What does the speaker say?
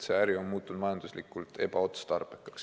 See äri on muutunud majanduslikult ebaotstarbekaks.